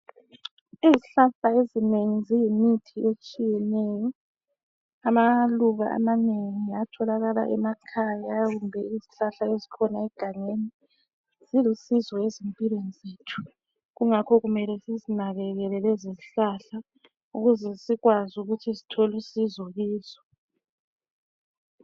Izihlahla eminengi ziyimithi etshiyeneyo. Amaluba amanengi atholakala emakhaya kumbe izihlahla ezikhona egangeni zilusizo ezimpilweni zethu kungakho kumele sizinakekele lezo zihlahla ukuze sithole usizo klzo